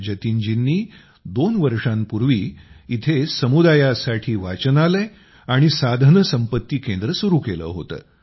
जतिन जींनी दोन वर्षांपूर्वी इथं समुदायासाठी वाचनालय आणि साधनसंपत्ती केंद्र सुरू केलं होतं